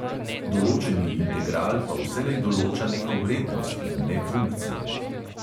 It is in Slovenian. Določeni integral pa vselej določa neko vrednost, in ne funkcije.